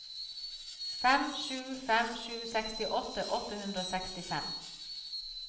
fem sju fem sju sekstiåtte åtte hundre og sekstifem